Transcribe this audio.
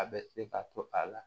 A bɛ se ka to a la